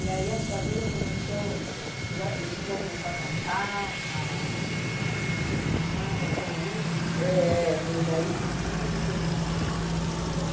E aí a sua vida começou o, já você já começou a cantar, a a a mexer com samba, foi aí que... É, foi daí que tudo começou, entendeu?